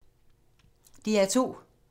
DR2